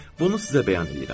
Bunu sizə bəyan eləyirəm.